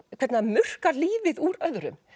hvernig það murkar lífið úr öðrum